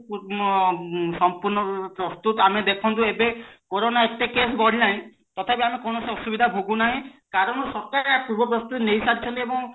ସମ୍ପୂର୍ଣ ରୂପେ ପ୍ରସ୍ତୁତ ଆମେ ଦେଖନ୍ତୁ ଏବେ କୋରୋନା ଏତେ case ବଢିଲାଣି ତଥାପି ଆମେ କୌଣସି ଅସୁବିଧା ଭୋଗୁ ନାହେ କାରଣ ସରକାର ୟା ପୂର୍ବ ପ୍ରସ୍ତୁତି ନେଇସାରିଛନ୍ତି ଏବଂ